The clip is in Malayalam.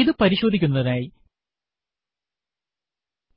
ഇത് പരിശോധിക്കുന്നതിനായി